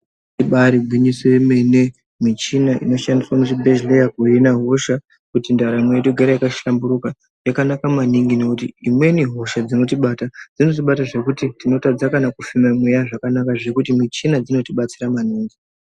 Ibari gwinyiso yemene. Michina inoshandiswa muzvibhehleya kuhina hosha kuti ndaramo yedu igare yakashamburika yakanaka maningi nekuti imweni hosha dzinotibata dzinotibata zvekuti tinotadza kana kufema mweya zvakanaka zvekuti michina dzinotibatsira maningi.